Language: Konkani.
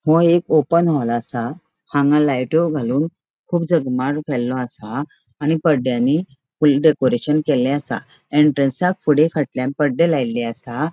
वो एक ओपन हॉल असा हांगा लायटीओ घालून कुब जगमगाट केलो असा आणि पडद्यानी फूल डेकोरेशन केले असा एंट्रन्सक फुड़े फाटल्याण पडदे लायले असा.